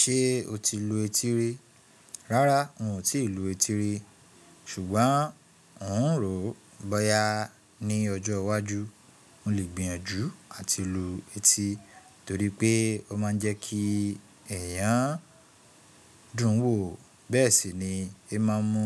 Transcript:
Ṣé o ti lu etí rí? Rárá n ò ti lu etí rí ṣùgbọ́n n òún ròó bóyá ní ọjọ́ iwájú mo le gbìyànjú àti lu etí torí pé ó máa ń jẹ́ kí ẹ̀yàn dùn wòó bẹ́ẹ̀ sì ni i n máa n mú